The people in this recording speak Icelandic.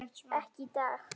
Ekki í dag.